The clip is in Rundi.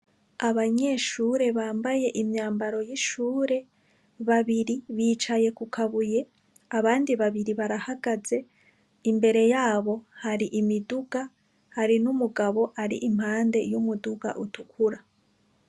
Abanyeshure bambaye imyambaro w'ishure, babiri bicaye kukabuye abandi babiri barahagaze, imbere yabo hari imiduga hari n'umugabo ari impande y'umuduga utukura.